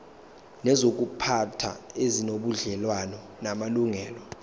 nezokuziphatha ezinobudlelwano namalungelo